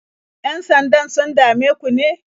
Yan-sandan sun dame ku ne?